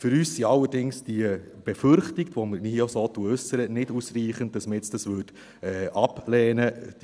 Für uns sind allerdings die Befürchtungen, die wir hier auch so äussern, nicht ausreichend, als dass wir das jetzt ablehnen würden.